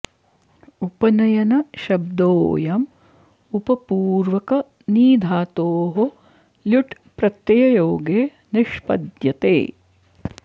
उपनयन शब्दोऽयम् उपपूर्वक नी धातोः ल्युट् प्रत्यययोगे निष्पद्यते